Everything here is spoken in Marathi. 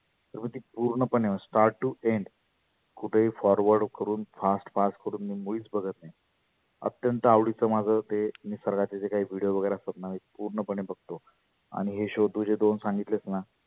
मग ती पुर्ण पणे start to end कुठेही forward करुण fast fast करुण मी मुळीच बघत नाही. आत्यतं आवडीच माझ ते निसर्गाचे जे काही video वगैरे असतात ना मी पुर्ण पणे बघतो. आणि हे show तु जे दोन सांगितलेत ना